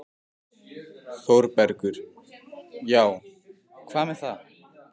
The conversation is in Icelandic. ÞÓRBERGUR: Já, og hvað með það?